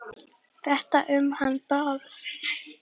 Þetta um hann Bárð?